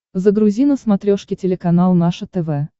загрузи на смотрешке телеканал наше тв